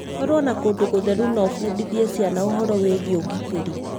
Korwo na kũndũ gũtheru na ũbundithie ciana ũhoro wĩĩgie ũgitĩri